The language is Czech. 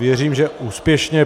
Věřím, že úspěšně.